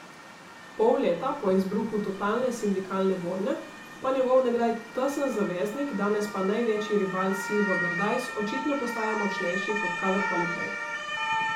Pol leta po izbruhu totalne sindikalne vojne pa njegov nekdaj tesen zaveznik, danes pa največji rival Silvo Berdajs očitno postaja močnejši kot kadarkoli prej.